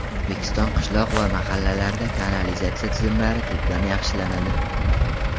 O‘zbekiston qishloq va mahallalarida kanalizatsiya tizimlari tubdan yaxshilanadi.